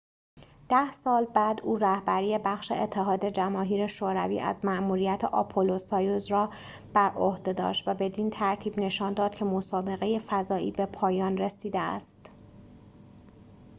ده سال بعد او رهبری بخش اتحاد جماهیر شوروی از مأموریت آپولو-سایوز را بر عهده داشت و بدین ترتیب نشان داد که مسابقه فضایی به پایان رسیده است